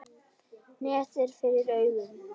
Net er fyrir augum.